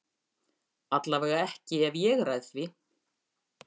Allavega ekki ef ég ræð því.